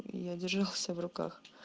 я держал себя в руках